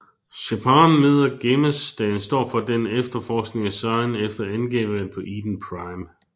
Shepard møder Garrus da han står for den efterforskningen af Saren efter angrebet på Eden Prime